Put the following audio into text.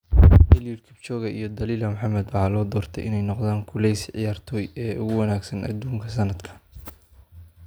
Eliud Kipchoge iyo Dalilah Muhammad waxaa loo doortay inay noqdaan kuleyse ciyaartoy ee ugu wanaagsan adduunka sannadkaan.